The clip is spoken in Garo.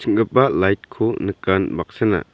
light-ko nikan baksana--